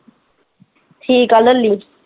ਠੀਕ ਆ ਲੈਲੀ।